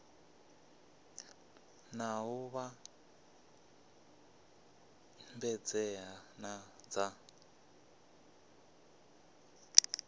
na u vhambedzea na dza